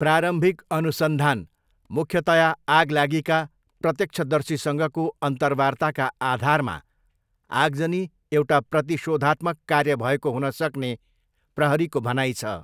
प्रारम्भिक अनुसन्धान, मुख्यतया आगलागीका प्रत्यक्षदर्शीसँगको अन्तर्वार्ताका आधारमा आगजनी एउटा प्रतिशोधात्मक कार्य भएको हुनसक्ने प्रहरीको भनाइ छ।